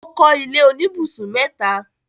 ó kọ́ ilé oníbùsùn mẹ́ta.